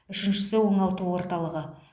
үшіншісі оңалту орталығы